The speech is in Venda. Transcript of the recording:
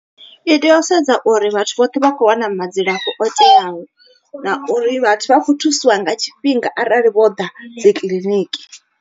I tea u sedza uri vhathu vhoṱhe vha kho wana madzilafho o teaho. Na uri vhathu vha kho thusiwa nga tshifhinga arali vho ḓa dzi kiḽiniki.